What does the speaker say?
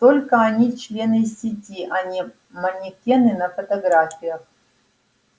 только они члены сети а не манекены на фотографиях